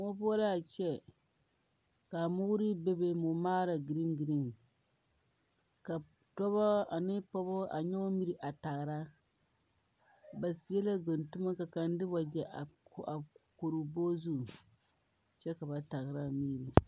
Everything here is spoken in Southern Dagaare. Moɔ poɔ la a kyɛ ka a moore be be mɔmaara gereni gereni ka dɔbɔ ane pɔgeba a nyɔge miri a tagra ba seɛ la guntumo ka kaŋa de wagyɛ a kori o bɔgɔzu kyɛ ka ba tagra a miri.